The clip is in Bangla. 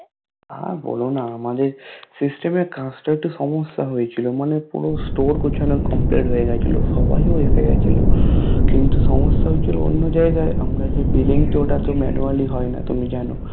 এর বলোনা আমাদের System এর কাচটা একটু সমস্যা হয়েছিল মানে পুরো Store গুছানো Complete হয়ে গেছিলো সবাই ও আসবে গেছিলো সমস্যা হ্যুয়েছিলো অন্য জায়গায় আমরা যে Billing ওটা তো Manually হয় না তুমি জানো